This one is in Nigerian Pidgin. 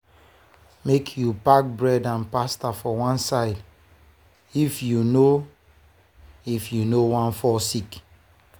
make you park bread and pasta one side if you no if you no wan fall sick.